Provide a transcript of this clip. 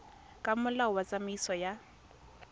ka molao wa tsamaiso ya